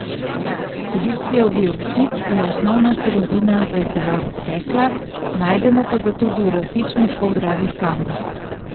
Silicijev dioksid je osnovna surovina za izdelavo stekla, najdemo pa ga tudi v različnih poldragih kamnih.